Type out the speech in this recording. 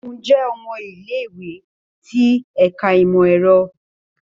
Segun jẹ ọmọ ile-iwe ti Ẹka Imọ-ẹrọ